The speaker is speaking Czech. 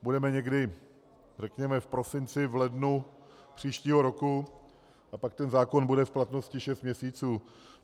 Budeme někdy, řekněme, v prosinci, v lednu příštího roku a pak ten zákon bude v platnosti šest měsíců.